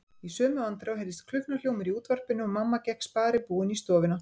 Í sömu andrá heyrðist klukknahljómur í útvarpinu og mamma gekk sparibúin í stofuna.